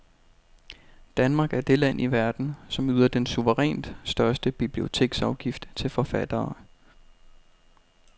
Danmark er det land i verden, som yder den suverænt største biblioteksafgift til forfattere.